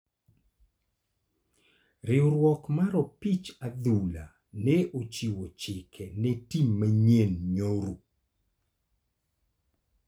Riwruok mar opich adhula ne ochiwo chike ne tim manyien nyoro.